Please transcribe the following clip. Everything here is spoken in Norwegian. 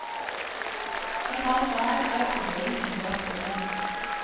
I kaldt vær er andelen enda større.